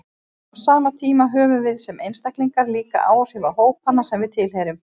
Á sama tíma höfum við sem einstaklingar líka áhrif á hópana sem við tilheyrum.